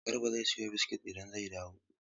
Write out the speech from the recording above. Garba zai siyo biskit idan zai dawo.